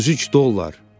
33 dollar!